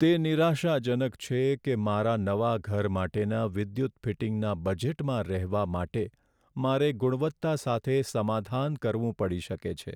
તે નિરાશાજનક છે કે મારા નવા ઘર માટેના વિદ્યુત ફિટિંગના બજેટમાં રહેવા માટે મારે ગુણવત્તા સાથે સમાધાન કરવું પડી શકે છે.